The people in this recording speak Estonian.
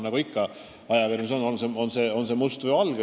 Nagu ikka ajakirjanduses on: must või valge.